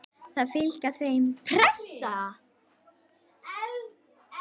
Það fylgir því engin pressa.